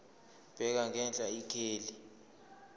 bheka ngenhla ikheli